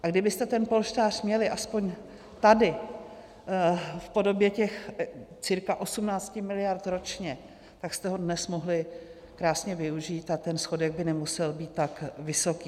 A kdybyste ten polštář měli aspoň tady v podobě těch cca 18 miliard ročně, tak jste ho dnes mohli krásně využít a ten schodek by nemusel být tak vysoký.